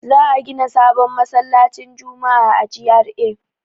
Za a gida sabon masallacin juma'a a GRA.